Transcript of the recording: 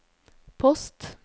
post